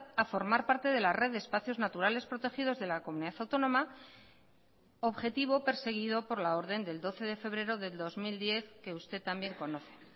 a formar parte de la red de espacios naturales protegidos de la comunidad autónoma objetivo perseguido por la orden del doce de febrero del dos mil diez que usted también conoce